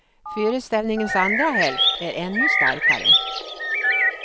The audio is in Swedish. Föreställningens andra hälft är ännu starkare.